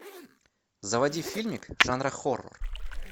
заводи фильмик жанра хоррор